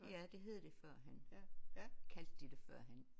Ja det hed det førhen kaldte de det førhen